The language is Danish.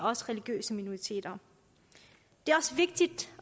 også religiøse minoriteter det er også vigtigt